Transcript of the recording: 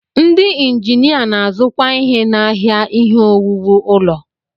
Ndị injinia na-azukwa ihe n'ahịa ihe owuwu ụlọ.